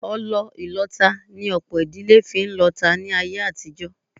Ọlọ ìlọta ni ọ̀pọ̀ ìdílé fi ń lọta láyé àtijọ́